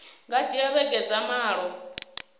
nga dzhia vhege dza malo